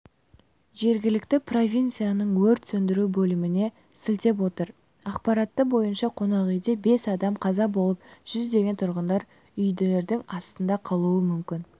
жергілікті провинцияның өрт сөндіру бөліміне сілтеп отыр ақпараты бойынша қонақүйде бес адам қаза болып жүздеген тұрғындар үйіндінің астында қалуы мүмкін